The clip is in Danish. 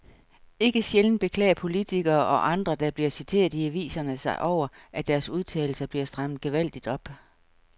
Ikke sjældent beklager politikere og andre, der bliver citeret i aviserne sig over, at deres udtalelser bliver strammet gevaldigt op.